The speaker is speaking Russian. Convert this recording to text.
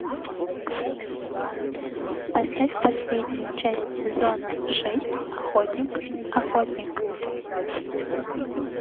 поставь последнюю часть сезона шесть охотник охотник